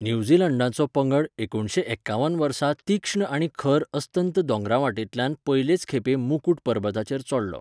न्यूझीलंडाचो पंगड एकुणशे एकावन वर्सा तीक्ष्ण आनी खर अस्तंत दोंगरांतवटेंतल्यान पयलेच खेपे मुकुट परबताचेर चडलो.